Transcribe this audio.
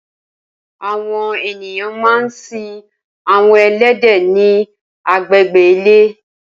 Awọn éniyàn mà n sin awọn ẹlẹdẹ ni àgbégbé ilé